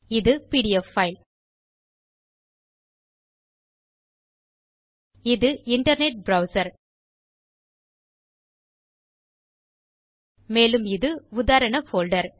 இது PDF file இது internet browser மேலும் இது உதாரண போல்டர்